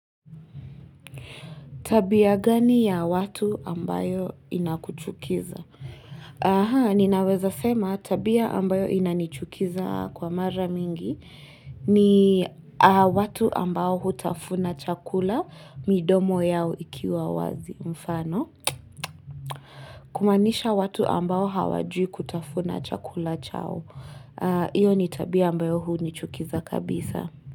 Tabia gani ya watu ambayo inakuchukiza? Aha, ninaweza sema tabia ambayo inanichukiza kwa mara mingi ni watu ambao hutafuna chakula midomo yao ikiwa wazi mfano. Kumanisha watu ambao hawajui kutafuna chakula chao. Iyo ni tabia ambayo hunichukiza kabisa.